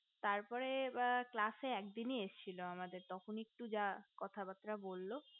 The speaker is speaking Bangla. তার পরে class এ একদিনই এসেছিল আমাদের তখনি যা কথাবার্তা বললো